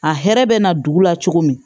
A hɛrɛ bɛ na dugu la cogo min